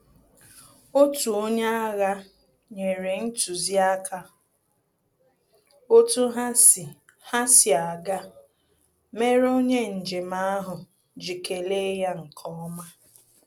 Otu onye agha nyere ntụziaka otu ha si ha si aga, mere onye njem ahụ ji kele ya nkeọma